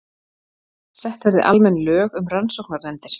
Sett verði almenn lög um rannsóknarnefndir